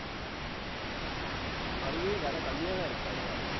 அங்கேயும் விலை கம்மியா தான் இருக்காமா.